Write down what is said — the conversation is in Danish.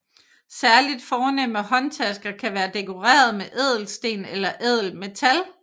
Særligt fornemme håndtasker kan være dekoreret med ædelsten eller ædelmetal